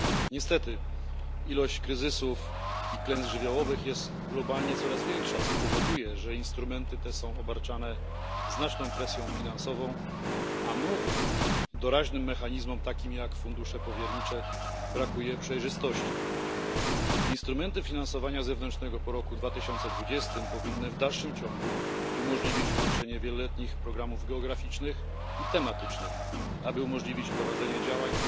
Niestety liczba kryzysów i klęsk żywiołowych jest globalnie coraz większa, co powoduje, że instrumenty te są obarczane znaczną presją finansową, a nowym doraźnym mechanizmom takim jak fundusze powiernicze brakuje przejrzystości. Instrumenty finansowania zewnętrznego po roku 2020 powinny w dalszym ciągu umożliwić łączenie wieloletnich programów geograficznych i tematycznych, aby umożliwić prowadzenie działań